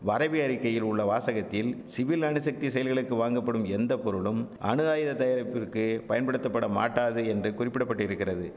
வரைவி அறிக்கையில் உள்ள வாசகத்தில் சிவில் அணுசக்தி செயல்களுக்கு வாங்கப்படும் எந்த பொருளும் அணுஆயுத தயாரிப்பிற்கு பயன்படுத்தப்படமாட்டாது என்று குறிப்பிட பட்டிருக்கிறது